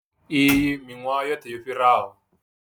Iyi miṅwahani yoṱhe yo fhiraho.